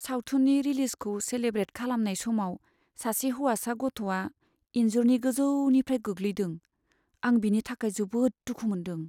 सावथुननि रिलिजखौ सेलेब्रेट खालामनाय समाव सासे हौवासा गथ'आ इनजुरनि गोजौनिफ्राय गोग्लैदों। आं बिनि थाखाय जोबोद दुखु मोनदों।